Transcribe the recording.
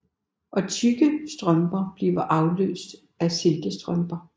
Og tykke strømper bliver afløst af silkestrømper